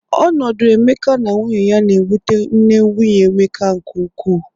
Ọnọdụ Emeka na nwunye ya na-ewuta nne nwnye Emeka nke ụkwụ.